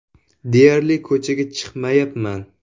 Deyarli ko‘chaga chiqmayapman.